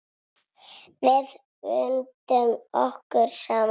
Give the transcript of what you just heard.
Við bundum okkur saman.